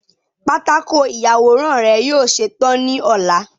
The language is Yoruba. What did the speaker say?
patako iyaworan rẹ yoo ṣetan ni ọla